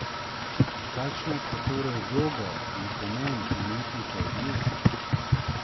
Kakšna sta torej vloga in pomen umetnika v družbi?